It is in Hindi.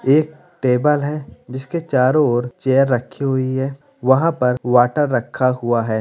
एक टेबल है जिसके चारों और चेयर रखी हुई है वहाँ पर वाटर रखा हुआ है।